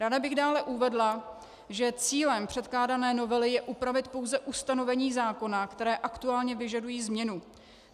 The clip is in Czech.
Ráda bych dále uvedla, že cílem předkládané novely je upravit pouze ustanovení zákona, která aktuálně vyžadují změnu.